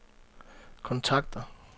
kontakter